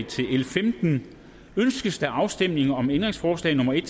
til l 15 ønskes afstemning om ændringsforslag nummer en